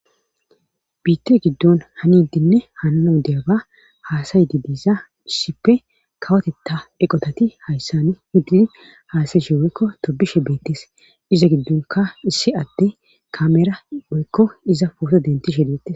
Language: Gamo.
Biitte giddon hanidinne hanana u deyaba haasayidi biiza hisshippe kawotetta eqotati hayssan hiddidi haasayi shiweekko tobishe beettes iza giddonka issi adde kamera oykko iza fooso denti she deettes